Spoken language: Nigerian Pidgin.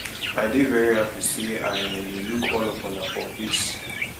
i dey very happy say i um dey look all of una for face